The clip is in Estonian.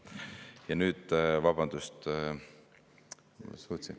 Ja nüüd, vabandust …